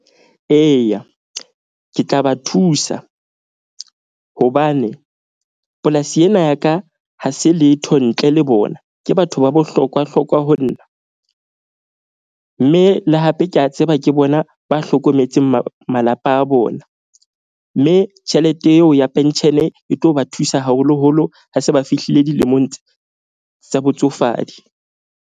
Eya, ke tla ba thusa hobane polasi ena ya ka ha se letho ntle le bona. Ke batho ba bohlokwa hlokwa ho nna. Mme le hape ke a tseba ke bona ba hlokometseng malapa a bona. Mme tjhelete eo ya pension e tlo ba thusa, haholoholo ha se ba fihlile dilemong tsa botsofadi.